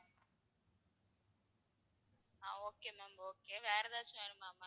ஆஹ் okay ma'am okay வேற எதாச்சும் வேணுமா ma'am?